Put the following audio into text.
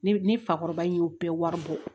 Ni ni fakɔrɔba in y'o bɛɛ wari bɔ